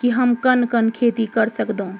की हम कन कन खेती कर सक्दो ।